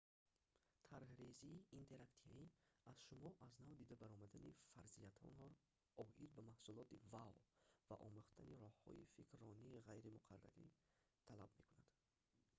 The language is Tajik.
тарҳрезии интерактивӣ аз шумо аз нав дида баромадани фарзияҳоятонро оид ба маҳсулоти вао ва омӯхтани роҳҳои фикрронии ғайримуқаррариро талаб мекунад